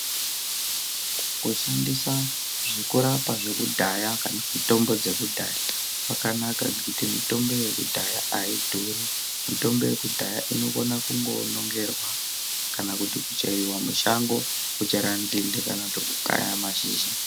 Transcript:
Kushandisa zvekurapa zvekudhaya kana kuti mitombo dzekudhaya, kwakanaka ngekuti mitombo yekudhaya aidhuri, mitombo yekudhaya inokona kungonongerwa, kana kuti kucheriwa mushango ,kuchera nzinde kana kuti kukaya mashizha.